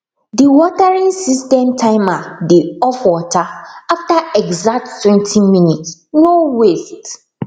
the watering system timer dey off water after exacttwentyminutes no waste